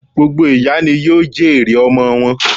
Gbogbo ìyá ni yóò jèrè ọmọ wọn